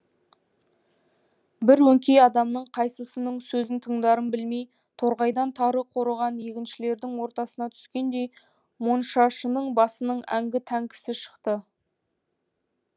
бір өңкей адамның қайсысының сөзін тыңдарын білмей торғайдан тары қорыған егіншілердің ортасына түскендей моншашының басының әңгі тәңкісі шықты